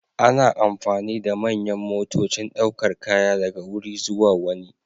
Ana amfani da manyan motocin daukar kaya daga wuri zuwa wani.